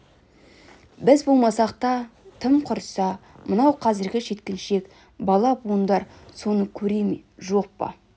біз болмасақ тым құрса мынау қазіргі жеткіншек бала-буындар соны көре ме жоқ па